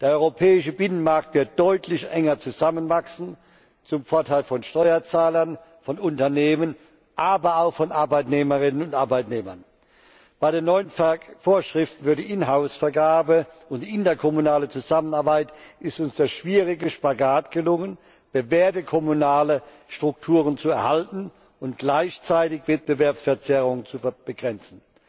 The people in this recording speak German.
Der europäische Binnenmarkt wird deutlich enger zusammenwachsen zum Vorteil von Steuerzahlern, von Unternehmen, aber auch von Arbeitnehmerinnen und Arbeitnehmern. Bei den neuen Vorschiften für die Inhouse Vergabe und interkommunale Zusammenarbeit ist uns der schwierige Spagat gelungen, bewährte kommunale Strukturen zu erhalten und gleichzeitig Wettbewerbsverzerrungen zu begrenzen.